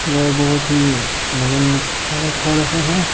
गाय बहुत ही मगन चारा खा रहा है।